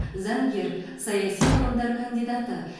заңгер саяси ғылымдар кандидаты